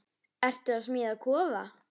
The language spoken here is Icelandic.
Ertu að smíða kofa?